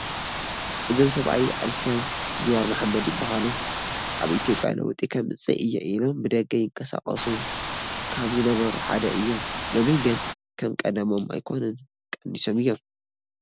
እዞም ሰብኣይ ኣይተ ጁሃር መሓመድ ይበሃሉ፡፡ ኣብ ኢትዮጵያ ለውጢ ከምፅእ እየ ኢሎም ብደገ ይንቀሳቐሱ ካብ ዝነበሩ ሓደ እዮም፡፡ ሎሚ ግን ከም ቀደሞም ኣይኮኑን፡፡ ቀኒሶም እዮም፡፡